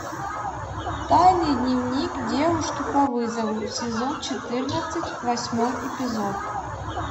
тайный дневник девушки по вызову сезон четырнадцать восьмой эпизод